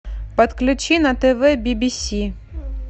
подключи на тв би би си